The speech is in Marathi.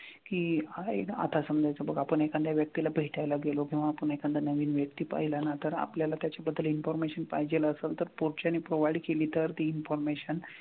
की हां एकदा समजायचं बघ आपण एखाद्या व्यक्तीला भेटायला गेलो किंवा आपण एखादा नवीन व्यक्ती पाहिला ना तर आपल्याला त्याच्या बद्दल information पाहिजेल असल तर पुढच्यानी provide केली तर ती information,